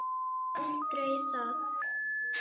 Aldrei það.